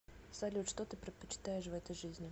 салют что ты предпочитаешь в этой жизни